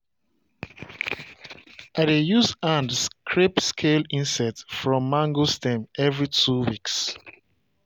i dey use hand scrape scale insect from mango stem every two weeks.